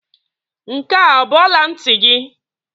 Nke a ọ bụ ọla ntị gị?